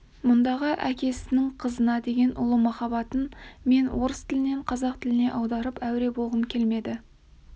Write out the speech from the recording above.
мұндағы әкенің қызына деген ұлы махаббатын мен орыс тілінен қазақ тіліне аударып әуре болғым келмеді